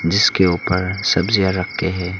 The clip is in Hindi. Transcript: जिसके ऊपर सब्जियां रखे हैं।